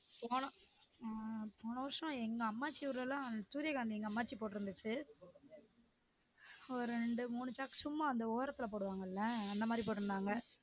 போன ஆஹ் போன வருஷம் எங்க அம்மாச்சி ஊர்ல எல்லாம் சூரியகாந்தி எங்க அம்மாச்சி போட்டுருந்துச்சு ஒரு இரண்டு மூணு சாக்கு சும்மா அந்த ஓரத்துல போடுவாங்கள அந்த மாதிரி போட்டுருந்தாங்க